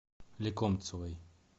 лекомцевой